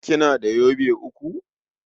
Kina da yobe uku?